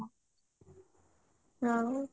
ଆଉ